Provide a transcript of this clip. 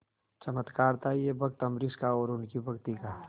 चमत्कार था यह भक्त अम्बरीश का और उनकी भक्ति का